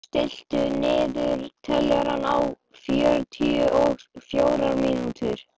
Sæsól, stilltu niðurteljara á fjörutíu og fjórar mínútur.